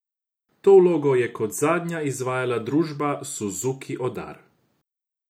To vlogo je kot zadnja izvajala družba Suzuki Odar.